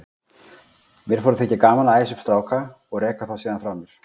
Mér fór að þykja gaman að æsa upp stráka og reka þá síðan frá mér.